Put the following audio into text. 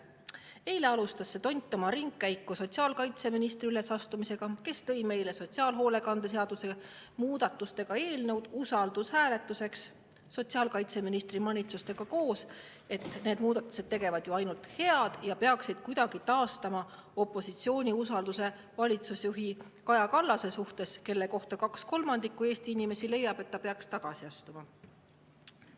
Eile alustas see tont oma ringkäiku sotsiaalkaitseministri ülesastumisega, kes tõi meile siia usaldushääletuseks sotsiaalhoolekande seaduse muutmise seaduse eelnõu koos ministri manitsustega, et need muudatused tegevat ju ainult head ja peaksid kuidagi taastama opositsiooni usalduse valitsusjuhi Kaja Kallase suhtes, kelle kohta kaks kolmandikku Eesti inimesi leiab, et ta peaks tagasi astuma.